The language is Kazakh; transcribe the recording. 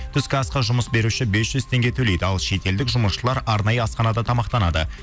түскі асқа жұмыс беруші бес жүз теңге төлейді ал шетелдік жұмысшылар арнайы асханада тамақтанады